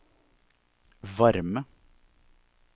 varme